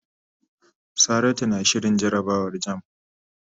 Saratu na shirin jarabawar jamb.